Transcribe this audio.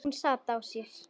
Hún sat á sér.